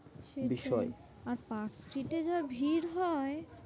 সেটাই বিষয় আর পার্কস্ট্রিটে যা ভিড় হয়?